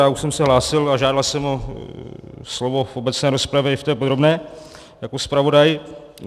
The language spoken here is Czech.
Já už jsem se hlásil a žádal jsem o slovo v obecné rozpravě i v té podrobné jako zpravodaj.